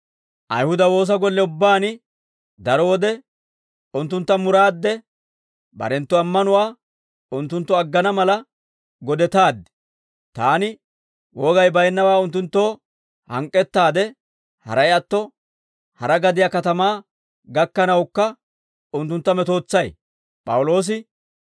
Ayihuda woosa golle ubbaan daro wode unttuntta muraadde, barenttu ammanuwaa unttunttu aggana mala godetaaddi; taani wogay baynnawaa unttunttoo hank'k'ettaade, haray atto, hara gadiyaa katamaa gakkanawukka unttuntta metootsay.